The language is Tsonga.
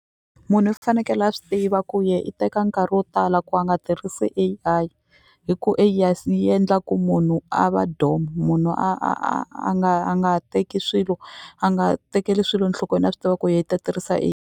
Munhu i fanekele a swi tiva ku ye i teka nkarhi wo tala ku a nga tirhisi A_I hi ku yi endla ku munhu a va domu munhu a a a a nga a nga teki swilo a nga tekeli swilo nhlokweni a swi tiva ku ye i ta tirhisa .